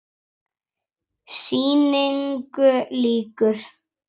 Sýningu lýkur.